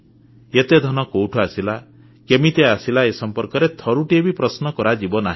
ଏତେ ଧନ କୋଉଠୁ ଆସିଲା କେମିତି ଆସିଲା ଏ ସମ୍ପର୍କରେ ଥରୁଟିଏ ବି ପ୍ରଶ୍ନ କରାଯିବନି